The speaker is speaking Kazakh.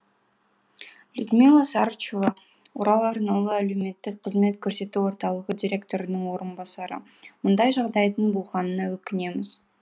людмила сарычева орал арнаулы әлеуметтік қызмет көрсету орталығы директорының орынбасары мұндай жағдайдың болғанына өкінеміз